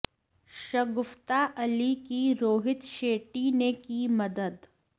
शगुफ्ता अली की रोहित शेट्टी ने की मदद